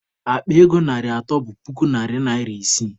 Akpa ego narị atọ bụ puku narị naịra isii.